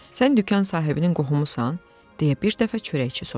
Sən dükan sahibinin qohumusan, deyə bir dəfə çörəkçi soruşdu.